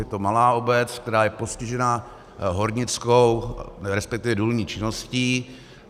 Je to malá obec, která je postižena hornickou, respektive důlní činností.